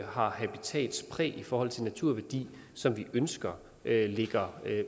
har habitatspræg i forhold til naturværdi som vi ønsker ligger